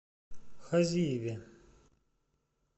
хазиеве